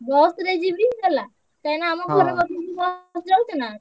Bus ରେ ଯିବି ହେଲା କାଇଁ ନାଁ ଆମ ଘର ପାଖ ଦେଇ bus ଯାଉଛି ନାଁ।